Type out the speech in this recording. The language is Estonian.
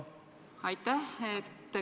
Aitäh!